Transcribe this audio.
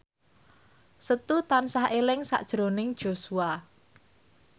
Setu tansah eling sakjroning Joshua